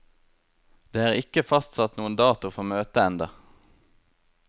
Det er ikke fastsatt noen dato for møtet enda.